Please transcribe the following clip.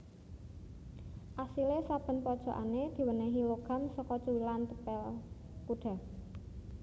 Asile saben pojokane diwenehi logam saka cuwilan tepel kuda